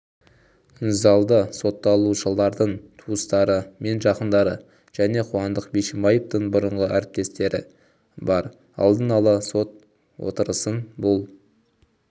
залда сотталушылардың туыстары мен жақындары және қуандық бишімбаевтың бұрынғы әріптестері бар алдын ала сот отырысын бұл